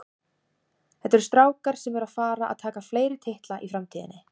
Þetta eru strákar sem eru að fara að taka fleiri titla í framtíðinni.